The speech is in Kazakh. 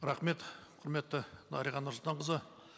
рахмет құрметті дариға нұрсұлтанқызы